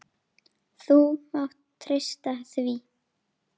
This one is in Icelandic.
Þú mátt treysta því!